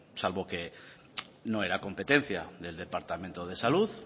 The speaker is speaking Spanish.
salvo que no era competencia del departamento de salud